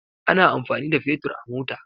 Ana amfani da Fetur a mota.